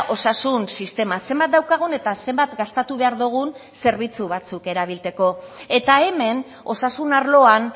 osasun sistema zenbat daukagun eta zenbat gastatu behar dugun zerbitzu batzuk erabiltzeko eta hemen osasun arloan